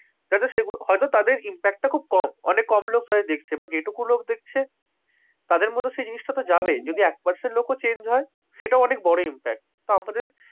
যাতে সেগুলো, হয়তো তাদের impact টা খুব কম। অনেক কম লোক তাদের দেখছে। but যেটুকু দেখছে, তাদের মধ্যে সেই জিনিসটা তো যাবেই। যদি এক percent লোকও change হয়, সেটাও অনেক বড় impact । তো আমাদের,